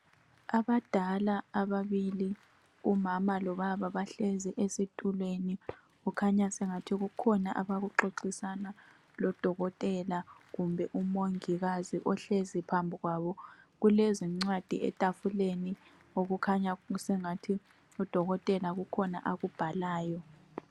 Abadala ababili umama lobaba bahlezi ezitulweni. Kukhanya angathi sekukhona abakuxoxisana lodokotela kumbe umongikazi ohlezi phambi kwabo. Kulezincwadi etafuleni okukhanya sengathi udokotela kukhona akubhalayo.